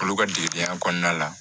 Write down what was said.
Olu ka degedenya kɔnɔna la